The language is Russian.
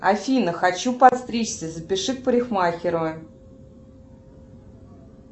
афина хочу подстричься запиши к парикмахеру